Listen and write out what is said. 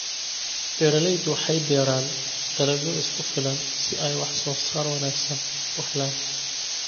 Beeraleydu waxay beeraan dalagyo isku dhafan si ay wax-soosaar wanaagsan u helaan.